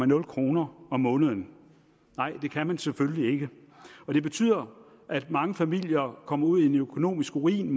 nul kroner om måneden det kan man selvfølgelig ikke og det betyder at mange familier kommer ud i en økonomisk ruin